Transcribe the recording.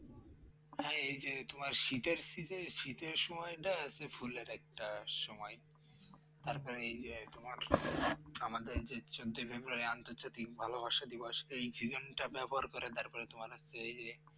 হ্যাঁ এই যে তোমার শীতের সিজে শীতের সময়টা আছে ফুলের একটা সময় তারপর এই যে তোমার আমাদের যে চোদ্দোই ফেব্রুয়ারি আন্তর্জাতিক ভালোবাসা দিবস ব্যবহার করে তারপরে তোমার হচ্ছে এই যে